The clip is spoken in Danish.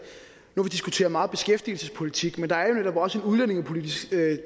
nu har vi diskuteret meget beskæftigelsespolitik men der er jo netop også en udlændingepolitisk